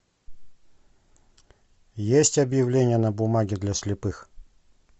есть объявления на бумаге для слепых